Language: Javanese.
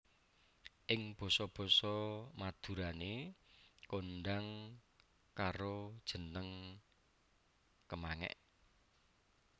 Ing basa basa Madurané kondhang karo jeneng kemangék